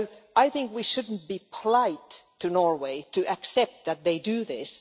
I think we should not be polite to Norway and accept that they do this.